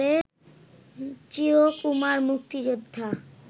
চির কুমার মুক্তিযোদ্ধা